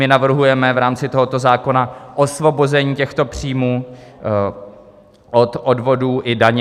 My navrhujeme v rámci tohoto zákona osvobození těchto příjmů od odvodů i daně.